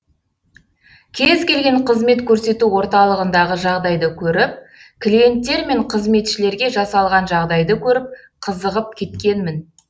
кез келген қызмет көрсету орталығындағы жағдайды көріп клиенттер мен қызметшілерге жасалған жағдайды көріп қызығып кеткнемін